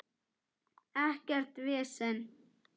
Ekkert vesen!